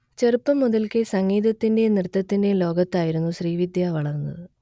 ചെറുപ്പം മുതൽക്കേ സംഗീതത്തിന്റെയും നൃത്തത്തിന്റെയും ലോകത്തായിരുന്നു ശ്രീവിദ്യ വളർന്നത്